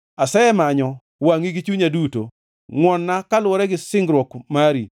Asemanyo wangʼi gi chunya duto; ngʼwon-na kaluwore gi singruok mari.